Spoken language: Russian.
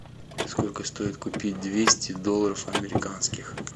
сколько стоит купить двести долларов американских